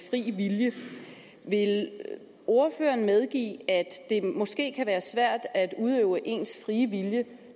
frie vilje vil ordføreren medgive at det måske kan være svært at udøve ens frie vilje